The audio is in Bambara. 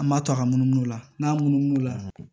An b'a to a ka munumunu o la n'a munumunu la